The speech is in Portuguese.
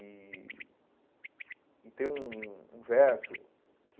E e tem um um verso que...